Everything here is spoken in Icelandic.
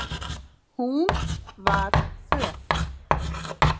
Hún var föl.